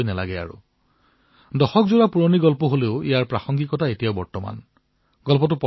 যদিও এই কাহিনীসমূহ দশক পূৰ্বে লিখা হৈছিল তথাপিও ইয়াৰ প্ৰাসংগিকতা আজিও অনুভূত হয়